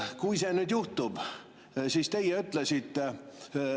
Kui see juhtub, [mis siis saab?